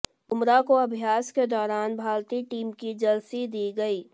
बुमरा को अभ्यास के दौरान भारतीय टीम की जर्सी दी गई